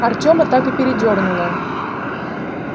артема так и передёрнуло